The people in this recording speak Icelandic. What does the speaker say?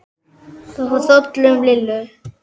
Það fór hrollur um Lillu.